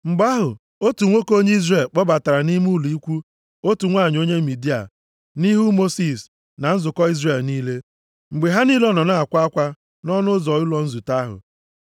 Mgbe ahụ, otu nwoke onye Izrel kpọbatara nʼime ụlọ ikwu otu nwanyị onye Midia, nʼihu Mosis na nzukọ Izrel niile, mgbe ha niile nọ na-akwa akwa nʼọnụ ụzọ ụlọ nzute ahụ.